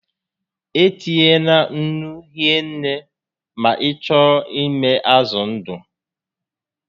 E tinyena nnu hie nne ma ị chọọ ịmị azụ ndụ